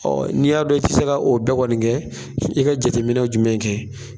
Ɔ n'i y'a dɔn i tɛ se ka o bɛɛ kɔni kɛ, i bɛ jateminɛ jumɛn in kɛ?